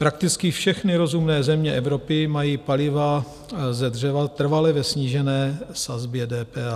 Prakticky všechny rozumné země Evropy mají paliva ze dřeva trvale ve snížené sazbě DPH.